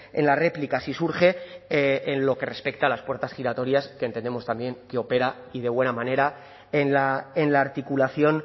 en la réplica si surge en lo que respecta a las puertas giratorias que entendemos también que opera y de buena manera en la articulación